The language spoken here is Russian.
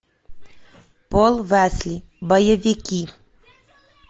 пол уэсли боевики